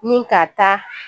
Nin ka taa